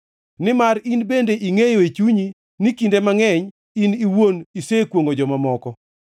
nimar in bende ingʼeyo e chunyi ni kinde mangʼeny in iwuon isekwongʼo joma moko.